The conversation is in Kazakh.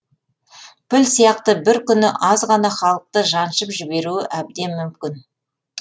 піл сияқты бір күні азғана халықты жаншып жіберуі әбден мүмкін